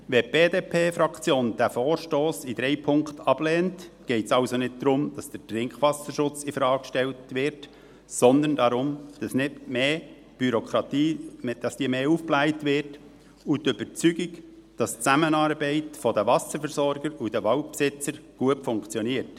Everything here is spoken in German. Wenn die BDP-Fraktion diesen Vorstoss in drei Punkten ablehnt, geht es also nicht darum, dass der Trinkwasserschutz in Frage gestellt wird, sondern darum, dass die Bürokratie nicht aufgebläht wird, und um die Überzeugung, dass die Zusammenarbeit der Wasserversorger und der Waldbesitzer gut funktioniert.